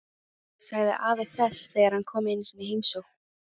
sagði afi þess þegar hann kom einu sinni í heimsókn.